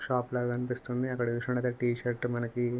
shop లాగా అనిపిస్తుంది అక్కడ చూసినట్టయితే టీ షర్ట్ మనకి --